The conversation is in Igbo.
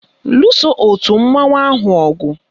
Luso òtù mmanwụ ahụ ọgụ!